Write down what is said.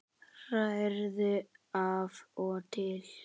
Hrærðu af og til.